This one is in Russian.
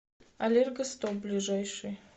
аллергостоп ближайший